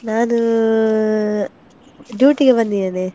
ನಾನು duty ಗೆ ಬಂದಿದ್ದೇನೆ.